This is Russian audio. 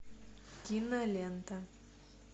кинолента